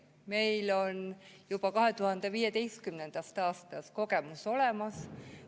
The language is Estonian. Meil on juba 2015. aastast kogemus olemas.